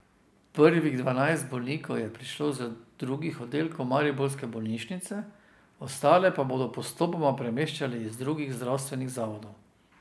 Prvih dvanajst bolnikov je prišlo z drugih oddelkov mariborske bolnišnice, ostale pa bodo postopoma premeščali iz drugih zdravstvenih zavodov.